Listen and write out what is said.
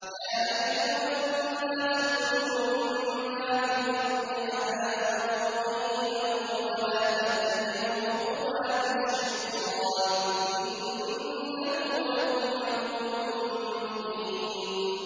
يَا أَيُّهَا النَّاسُ كُلُوا مِمَّا فِي الْأَرْضِ حَلَالًا طَيِّبًا وَلَا تَتَّبِعُوا خُطُوَاتِ الشَّيْطَانِ ۚ إِنَّهُ لَكُمْ عَدُوٌّ مُّبِينٌ